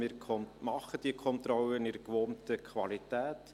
Wir machen diese Kontrollen in der gewohnten Qualität.